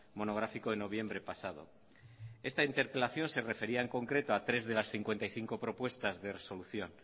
monográfico de noviembre pasado esta interpelación se refería en concreto a tres de las cincuenta y cinco propuestas de resolución